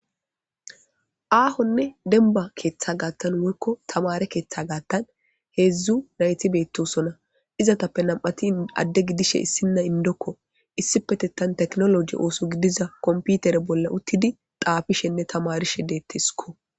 Aahonne denba keeththa gaattan woykko tamare keeththa gaattan hedzdzu nayti beettosona izatappe nam7ati adde gidishe issinna indokko issi petettan teknoloji ooso gidiza komputere bolla uttidi xaafishenne tamarishe dettisiko